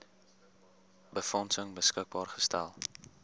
befondsing beskikbaar gestel